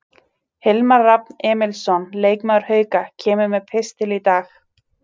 Hilmar Rafn Emilsson, leikmaður Hauka, kemur með pistil í dag.